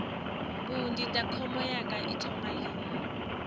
mbu ndindakhombo yanga i thoma lini